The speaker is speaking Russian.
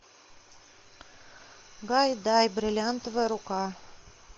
гайдай бриллиантовая рука